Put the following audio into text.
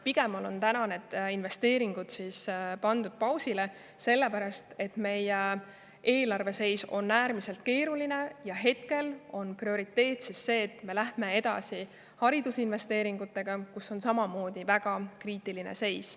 Pigem on need investeeringud pandud pausile, sellepärast et meie eelarve seis on äärmiselt keeruline ja hetkel on prioriteet see, et me läheme edasi haridusinvesteeringutega, kus on samamoodi väga kriitiline seis.